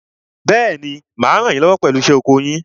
Bẹ́ẹ̀ni, mà á ràn yín lọ́wọ́ pẹ̀lú iṣẹ́ oko yín.